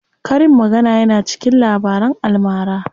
Karin magana yana cikin Labaran almara.